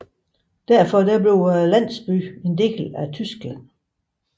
Derfor forblev landsbyen en del af Tyskland